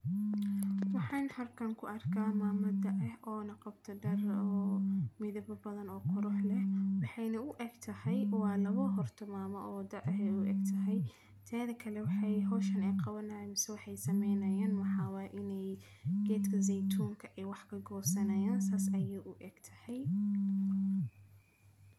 Waxayn harkaan ku arkaa maama da' ah oo naqabta daro midaba badan oo ka rooh leh. Waxayna u eg tahay. Waa laba hortu maama oo da' ah ay u eg tahay, teeda kale waxay hooshane qow aanaysa sameynayaan. Waxaa waa inay geedka zeetoonka ay wax ka goosanayaan saas ayuu u eg tahay.